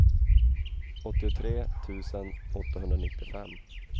åttiotre tusen åttahundranittiofem